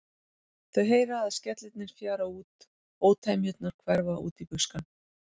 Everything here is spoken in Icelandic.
Þau heyra að skellirnir fjara út, ótemjurnar hverfa út í buskann.